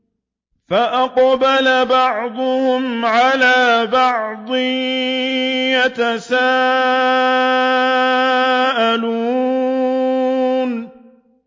فَأَقْبَلَ بَعْضُهُمْ عَلَىٰ بَعْضٍ يَتَسَاءَلُونَ